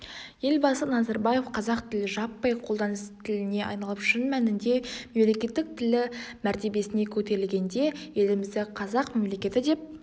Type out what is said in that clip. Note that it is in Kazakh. елбасы назарбаев қазақ тілі жаппай қолданыс тіліне айналып шын мәнінде мемлекеттік тілі мәртебесіне көтерілгенде елімізді қазақ мемлекеті деп